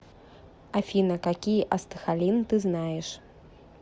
афина какие астахалин ты знаешь